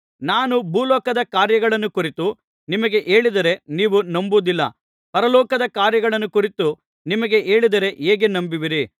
ನಾನು ಭೂಲೋಕದ ಕಾರ್ಯಗಳನ್ನು ಕುರಿತು ನಿಮಗೆ ಹೇಳಿದರೆ ನೀವು ನಂಬುವುದಿಲ್ಲ ಪರಲೋಕದ ಕಾರ್ಯಗಳನ್ನು ಕುರಿತು ನಿಮಗೆ ಹೇಳಿದರೆ ಹೇಗೆ ನಂಬುವಿರಿ